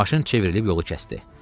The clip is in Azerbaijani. Maşın çevrilib yolu kəsdi.